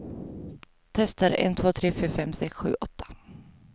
Testar en två tre fyra fem sex sju åtta.